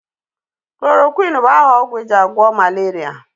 Chloroquin bụ aha ogwụ ejị agwo malaria.